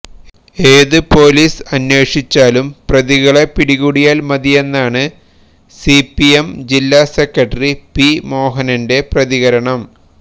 ഏത് പോലീസ് അന്വേഷിച്ചാലും പ്രതികളെ പിടികൂടിയാല് മതിയെന്നാണ് സിപിഎം ജില്ലാസെക്രട്ടറി പി മോഹനനന്റെ പ്രതികരണം